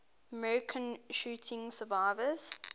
american shooting survivors